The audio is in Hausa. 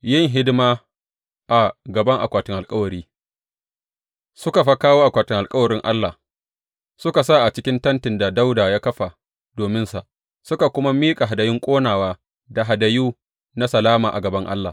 Yin hidima a gaban akwatin alkawari Suka fa kawo akwatin alkawarin Allah, suka sa a cikin tentin da Dawuda ya kafa dominsa, suka kuma miƙa hadayun ƙonawa da hadayu na salama a gaban Allah.